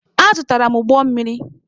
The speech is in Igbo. Azụtara m ụgbọ mmiri.